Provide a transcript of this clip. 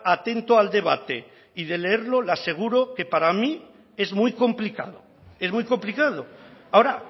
atento al debate y de leerlo le aseguro que para mí es muy complicado es muy complicado ahora